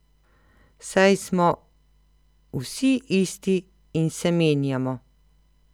Saj smo vsi isti in se menjamo.